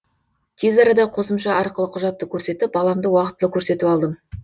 тез арада қосымша арқылы құжатты көрсетіп баламды уақтылы көрсетіп алдым